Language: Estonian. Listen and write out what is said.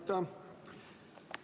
Aitäh!